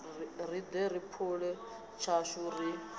riṋe ri phule tshashu ri